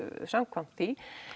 samkvæmt því